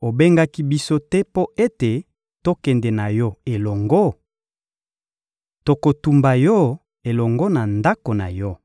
obengaki biso te mpo ete tokende na yo elongo? Tokotumba yo elongo na ndako na yo!